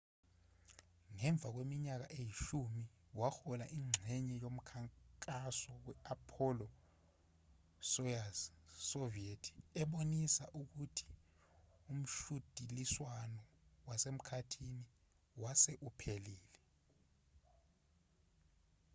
ngemva kweminyaka eyishumi wahola ingxenye yomkhankaso we-apollo-soyuz soviet ebonisa ukuthi umshudiliswano wasemkhathini wase uphelile